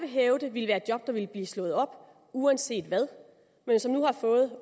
vil hævde ville være et job der ville blive slået op uanset hvad men som nu